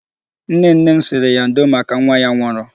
Nnenne m sịrị ya ndo maka nwa ya nwụrụ.